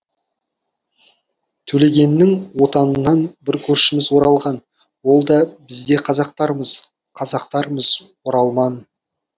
төлегеннің отанынан бір көршіміз оралған ол да біз де қазақтармыз қазақтармыз оралман